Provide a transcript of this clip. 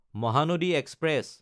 Mahanadi express